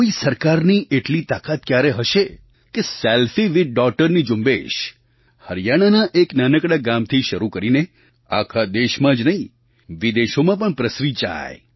કોઈ સરકારની એટલી તાકાત ક્યારે હશે કે selfiewithdaughterની ઝુંબેશ હરિયાણાના એક નાનકડા ગામથી શરૂ થઈને આખા દેશમાં જ નહીં વિદેશોમાં પણ પ્રસરી જાય